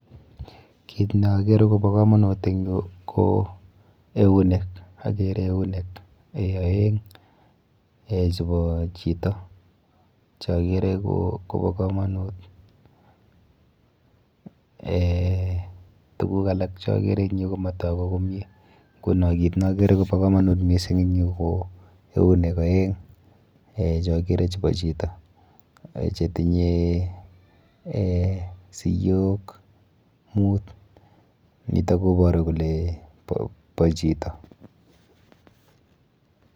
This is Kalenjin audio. Kit neakere kobo komonut eng yu ko eunek. Akere eunek aeng eh chepo chito cheakere kobo komonut eh tuguk alak cheakere eng yu komatoku komie, nkuno kit neakere kobo komonut mising eng yu ko eunek aeng eh cheakere chebo chito chetinye eh siyok mut, nito koboru kole bo chito.